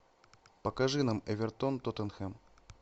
покажи нам эвертон тоттенхэм